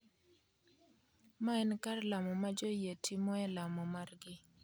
ma en kar lamo ma joyie timoe lamo margi.